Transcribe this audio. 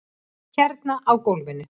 Hérna á gólfinu.